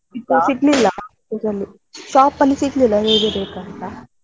ಸಿಗ್ಲಿಲ್ಲ ಅಲ್ಲಿ shop ಅಲ್ಲಿ ಸಿಗ್ಲಿಲ್ಲ ಹೇಗೆ ಬೇಕಂತ.